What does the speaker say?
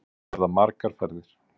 Þetta verða margar ferðir